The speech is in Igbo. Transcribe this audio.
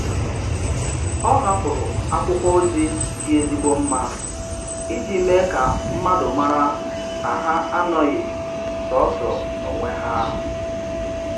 Ọ hapụrụ akwụkwọ ozi dị ezigbo mma iji mee ka mmadụ mara na ha anoghị sọọsọ n'onwe ha.